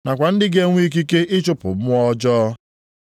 nakwa ndị ga-enwe ikike ịchụpụ mmụọ ọjọọ.